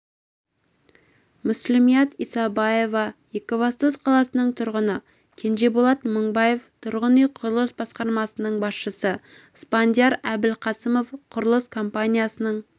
мүслімият исабаева екібастұз қаласының тұрғыны кенжеболат мыңбаев тұрғын үй құрылыс басқармасының басшысы спандияр әбілқасымов құрылыс компаниясының